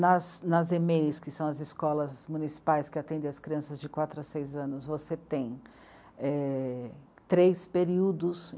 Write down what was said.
Nas ê mê ê i sê, que são as escolas municipais que atendem as crianças de quatro a seis anos, você tem três períodos.